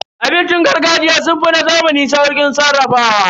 Abincin gargajiya sun fi na zamani sauƙin sarrafawa.